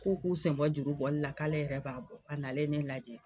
K'o k'u sen bɔ juru bɔli la k'ale yɛrɛ b'a bɔ a nalen ne lajɛ.